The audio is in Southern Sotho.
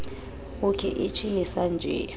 uke ichi ni san ji